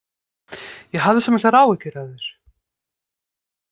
Ég hafði svo miklar áhyggjur af þér.